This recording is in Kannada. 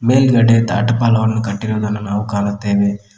ಮೇಲ್ಗಡೆ ದಾಟಫಲವನ್ನು ಕಟ್ಟಿರುವುದನ್ನು ನಾವು ಕಾಣುತ್ತೇವೆ.